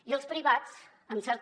i els privats amb certa